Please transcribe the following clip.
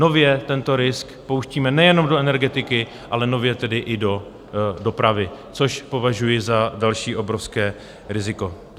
Nově tento risk pouštíme nejenom do energetiky, ale nově tedy i do dopravy, což považuji za další obrovské riziko.